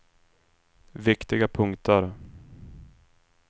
viktiga punkter